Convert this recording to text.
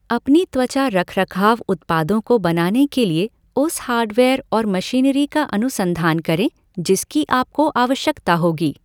अपने त्वचा रख, रखाव उत्पादों को बनाने के लिए उस हार्डवेयर और मशीनरी का अनुसंधान करें जिसकी आपको आवश्यकता होगी।